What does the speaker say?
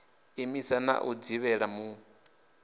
imisa na u dzivhela mul